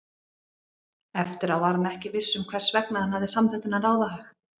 eftir á var hann ekki viss um hvers vegna hann hafði samþykkt þennan ráðahag.